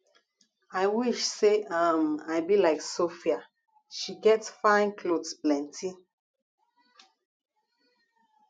i wish say um i be like sophia she get fine cloth plenty